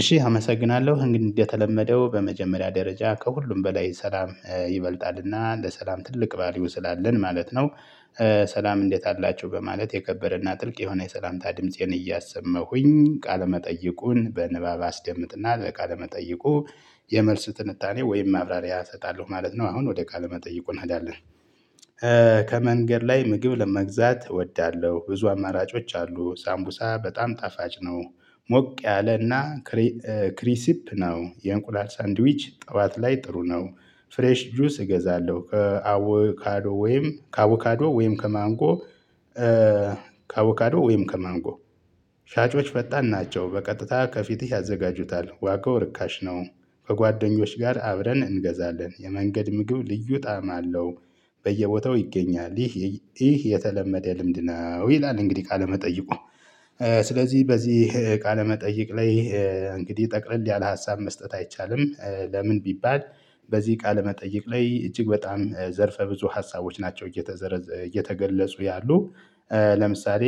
እሺ አመሰግናለሁ እንግዲህ እንደተለመደው በመጀመሪያ ደረጃ ከሁሉም በላይ ሰላም ይበልጣልና ለሰላም ትልቅ ቫልዩ ስላለን ማለት ነው። ሰላም እንዴት አላችሁ በማለት የከበረና ጥልቅ የሆነ የሰላምታ ድምፄን እያሰመኹኝ ቃለመጠይቁን በንባብ አስደምጥና ለቃለመጠይቁ የመልስ ትንታኔ ወይም ማብራሪያ እሰጣለሁ ማለት ነው። አሁን ወደ ቃለ መጠይቁ እንሄዳለን። ከመንገድ ላይ ምግብ ለመግዛት እወዳለሁ ብዙ አማራጮች አሉ ሳምቡሳ በጣም ጣፋጭ ነው። ሞቅ ያለና ክሪሲፕ ነው። የእንቁላል ሳንድዊች ጠዋት ላይ ጥሩ ነው። ፍሬሽ ጁስ እገዛለሁ ከአወካዶ ወይም ከአወካዶ ወይም ከማንጎ ከአወካዶ ወይም ከማንጎ። ሻጮች ፈጣን ናቸው በቀጥታ ከፊትህ ያዘጋጁታል ዋጋው ርካሽ ነው። ከጓደኞች ጋር አብረን እንገዛለን የመንገድ ምግብ ልዩ ጣዕም አለው። በየቦታው ይገኛል። ይህ የተለመደ ልምድ ነው ይላል እንግዲህ ቃለመጠይቁ ስለዚህ በዚህ ቃለመጠየቅ ላይ። እንግዲህ ጠቅልል ያለ ሀሳብ መስጠት አይቻልም። ለምን ቢባል። በዚህ ቃለ መጠየቅ ላይ እጅግ በጣም ዘርፈ ብዙ ሀሳቦች ናቸው እየተዘረ እየተገለጹ ያሉ። ለምሳሌ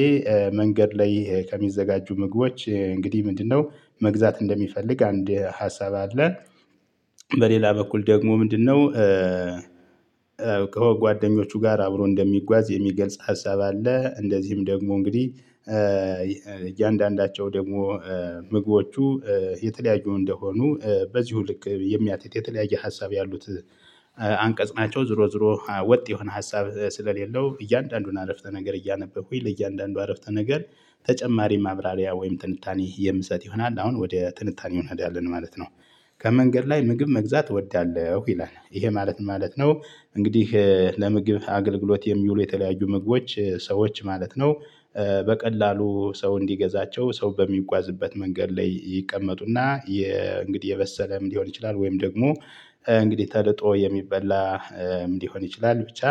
መንገድ ላይ ከሚዘጋጁ ምግቦች እንግዲህ ምንድነው? መግዛት እንደሚፈልግ አንድ ሀሳብ አለ አለ። በሌላ በኩል ደግሞ ምንድነው? ከጓደኞቹ ጋር አብሮ እንደሚጓዝ የሚገልጽ ሀሳብ አለ። እንደዚህም ደግሞ እንግዲህ እያንዳንዳቸው ደግሞ ምግቦቹ የተለያዩ እንደሆኑ በዚሁ ልክ የሚያትት የተለያየ ሀሳብ ያሉት። አንቀጽ ናቸው ዝሮ ዝሮ ወጥ የሆነ ሀሳብ ስለሌለው እያንዳንዱን አረፍተ ነገር እያነበብኩኝ ለእያንዳንዱ አረፍተ ነገር። ተጨማሪ ማብራሪያ ወይም ትንታኔ የምሰጥ ይሆናል አሁን ወደ ትንታኔ ሆነን አይደለንም ማለት ነው። ከመንገድ ላይ ምግብ መግዛት እወዳለሁ ይላል ይሄ ማለት ማለት ነው። እንግዲህ ለምግብ አገልግሎት የሚውሉ የተለያዩ ምግቦች ሰዎች ማለት ነው። በቀላሉ ሰው እንዲገዛቸው ሰው በሚጓዝበት መንገድ ላይ ይቀመጡና የ እንግዲህ የበሰለም ሊሆን ይችላል። ወይም ደግሞ እንግዲህ ተልጦ የሚበላ ሊሆን ይችላል። ብቻ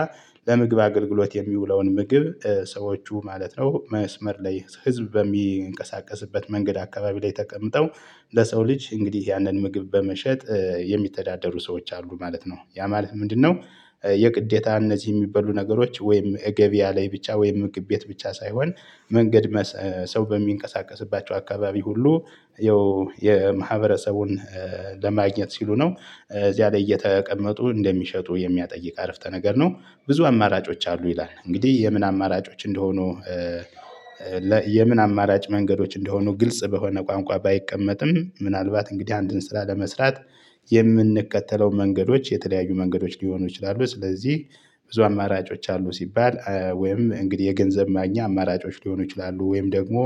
ለምግብ አገልግሎት የሚውለውን ምግብ ሰዎቹ ማለት ነው። መስመር ላይ ህዝብ በሚንቀሳቀስበት መንገድ አካባቢ ላይ ተቀምጠው ለሰው ልጅ እንግዲህ ያንን ምግብ በመሸጥ የሚተዳደሩ ሰዎች አሉ ማለት ነው። ያ ማለት ምንድነው? የግዴታ እነዚህ የሚበሉ ነገሮች ወይም ገበያ ላይ ብቻ ወይም ምግብ ቤት ብቻ ሳይሆን። መንገድ ሰው በሚንቀሳቀስባቸው አካባቢ ሁሉ ይኸው የማህበረሰቡን ለማግኘት ሲሉ ነው እዚያ ላይ እየተቀመጡ እንደሚሸጡ የሚያጠይቅ አረፍተ ነገር ነው። ብዙ አማራጮች አሉ ይላል እንግዲህ የምን አማራጮች እንደሆኑ። የምን አማራጭ መንገዶች እንደሆኑ ግልጽ በሆነ ቋንቋ ባይቀመጥም ምናልባት እንግዲህ አንድን ስራ ለመስራት የምንከተለው መንገዶች የተለያዩ መንገዶች ሊሆኑ ይችላሉ ስለዚህ። ብዙ አማራጮች አሉ ሲባል ወይም እንግዲህ የገንዘብ ማግኛ አማራጮች ሊሆኑ ይችላሉ ወይም ደግሞ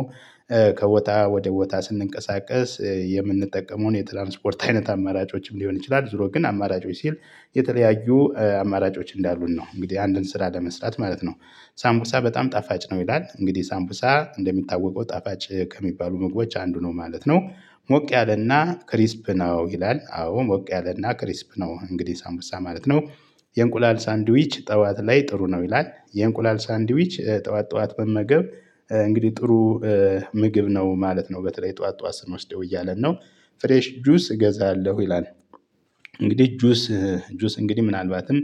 ከቦታ ወደ ቦታ ስንቀሳቀስ የምንጠቀመውን የትራንስፖርት አይነት አማራጮችም ሊሆን ይችላል። ዙሮ ግን አማራጮች ሲል የተለያዩ አማራጮች እንዳሉን ነው። እንግዲህ አንድን ስራ ለመስራት ማለት ነው። ሳምቡሳ በጣም ጣፋጭ ነው ይላል እንግዲህ ሳምቡሳ እንደሚታወቀው ጣፋጭ ከሚባሉ ምግቦች አንዱ ነው ማለት ነው። ሞቅ ያለና ክሪስፕ ነው ይላል አዎ ሞቅ ያለና ክሪስፕ ነው እንግዲህ ሳንቡሳ ማለት ነው። የእንቁላል ሳንድዊች ጠዋት ላይ ጥሩ ነው ይላል የእንቁላል ሳንድዊች ጠዋት ጠዋት መመገብ እንግዲህ ጥሩ ምግብ ነው ማለት ነው። በተለይ ጠዋት ጠዋት ስንወስደው እያለ ነው። ፍሬሽ ጁስ እገዛለሁ ይላል። እንግዲህ ጁስ ጁስ እንግዲህ ምናልባትም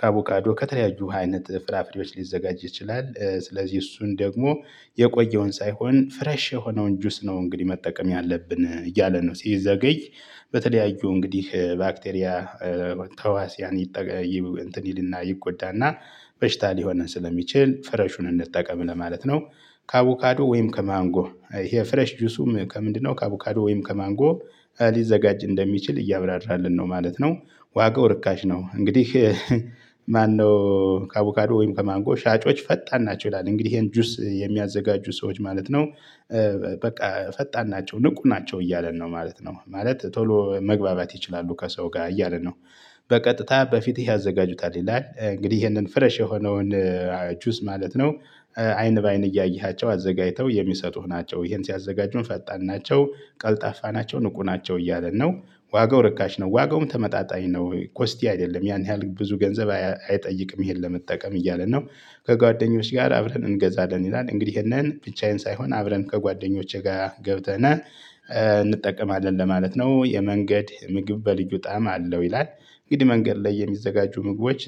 ከአቮካዶ ከተለያዩ አይነት ፍራፍሬዎች ሊዘጋጅ ይችላል። ስለዚህ እሱን ደግሞ የቆየውን ሳይሆን ፍረሽ የሆነውን ጁስ ነው እንግዲህ መጠቀም ያለብን እያለ ነው። ሲዘገይ በተለያዩ እንግዲህ ባክቴሪያ ተህዋስያን እንትን ይልና ይጎዳና በሽታ ሊሆነን ስለሚችል ፍሬሹን እንጠቀም ለማለት ነው። ከአቮካዶ ወይም ከማንጎ ይሄ ፍሬሽ ጁሱም ከምንድነው? ከአቮካዶ ወይም ከማንጎ ሊዘጋጅ እንደሚችል እያብራራልን ነው ማለት ነው። ዋጋው ርካሽ ነው እንግዲህ። ማነው? ከአቡካዶ ወይም ከማንጎ ሻጮች ፈጣን ናቸው ይላል እንግዲህ ይሄን ጁስ የሚያዘጋጁ ሰዎች ማለት ነው። በቃ ፈጣን ናቸው ንቁ ናቸው እያለን ነው ማለት ነው ማለት ቶሎ መግባባት ይችላሉ ከሰው ጋር እያለ ነው። በቀጥታ በፊትህ ያዘጋጁታል ይላል እንግዲህ ይሄንን ፍረሽ የሆነውን ጁስ ማለት ነው። አይን በአይን እያየሃቸው አዘጋጅተው የሚሰጡህ ናቸው ይሄን ሲያዘጋጁ ፈጣን ናቸው ቀልጣፋ ናቸው ንቁ ናቸው እያለን ነው። ዋጋው ርካሽ ነው ዋጋውም ተመጣጣኝ ነው ኮስቲ አይደለም ያን ያህል ብዙ ገንዘብ አይጠይቅም ይሄን ለመጠቀም እያለን ነው። ከጓደኞች ጋር አብረን እንገዛለን ይላል እንግዲህ ይሄንን ብቻዬን ሳይሆን አብረን ከጓደኞቼ ጋር ገብተናል እንጠቀማለን ለማለት ነው። የመንገድ ምግብ በልዩ ጣዕም አለው ይላል። እንግዲህ መንገድ ላይ የሚዘጋጁ ምግቦች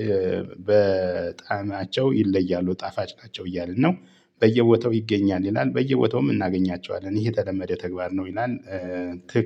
በጣማቸው ይለያሉ ጣፋጭ ናቸው እያለን ነው። በየቦተው ይገኛል ይላል። በየቦታውም እናገኛቸዋለን ይሄ የተለመደ ተግባር ነው ይላል።